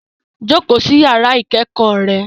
Jókòó sí yàrá ìkẹ́kọ̀ọ́ rẹ